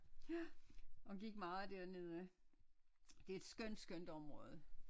Ja og gik meget dernede det er et skønt skønt område